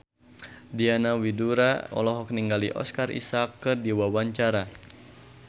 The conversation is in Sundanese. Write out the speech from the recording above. Diana Widoera olohok ningali Oscar Isaac keur diwawancara